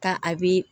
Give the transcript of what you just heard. Ka a bi